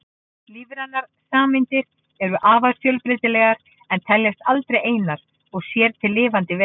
Lífrænar sameindir eru afar fjölbreytilegar en teljast aldrei einar og sér til lifandi vera.